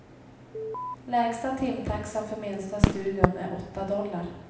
Lägsta timtaxan för minsta studion är åtta dollar.